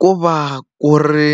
Ku va ku ri